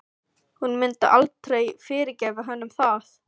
Hún myndi aldrei fyrirgefa honum það.